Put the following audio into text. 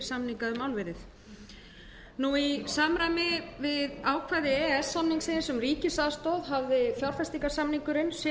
samninga um álverið í samræmi við ákvæði e e s samningsins um ríkisaðstoð hafði fjárfestingarsamningurinn